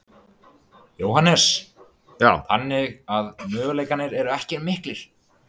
Jóhannes: Þannig að möguleikarnir eru ekkert miklir?